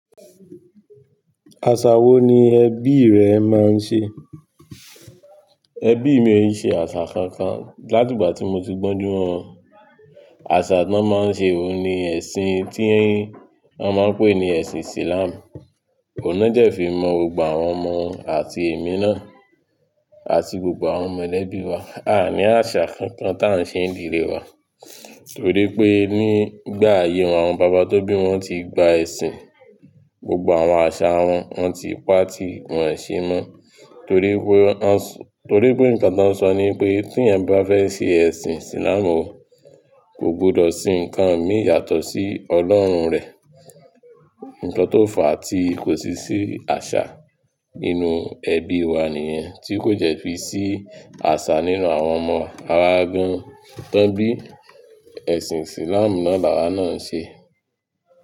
Àṣà wo ni ẹbí rẹ máa ń ṣe? Ẹbí mi o n ṣe àṣà kankan láti ìgbà tí mo ti gbónjú mọ wọn. Àṣà tí wọ́n máa ń ṣe ohun ni ẹ̀sìn tí wọ́n máa ń pè ní ẹ̀sìn Islam. Ohun niwọ́n dẹ̀ fi mọ́ gbogbo àwọn ọmọ àti èmi náà àti gbogbo àwọn mọ̀lẹ́bí wa. A ní àṣà kankan tá ń ṣe ìdílé wa torí pé nígbà ayé àwọn bàbá tó bí wọn ti gba ẹ̀sìn, gbogbo àwọn àṣà wọn, wọ́n ti pa tí wọ́n ṣe mọ́ torí pé nǹkan tí wọ́n n sọ ni pé tí eeyan bá fẹ́ ṣe ẹ̀sìn Islam o, kò gbọdọ̀ sin nǹkan mì yàtọ̀ sí Ọlọ́run rẹ. Nǹkan tó fà tí kò sí sí àṣà nínú ẹbí wa nìyẹn tí kò jẹ́ fi sí àṣà nínú àwọn ọmọ, awa gan tán bí ẹ̀sìn Islam náà lawa náà n ṣe.